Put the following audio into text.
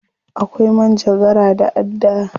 Akwai manjagara da adda.